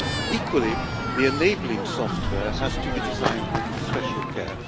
Equally, the enabling software has to be designed with special care.